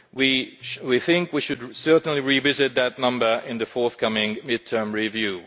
We think we should certainly revisit that number in the forthcoming mid term review.